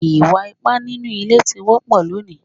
Ìwà ipá nínú ilé ti wọ́pọ̀ lónìí